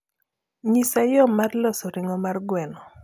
nyisa yo mar loso ringo mar gweno